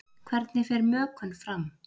Hvernig fer mökun fram?